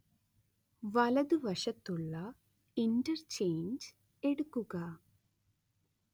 വലതുവശത്തുള്ള ഇന്റർചെയ്ഞ്ച് എടുക്കുക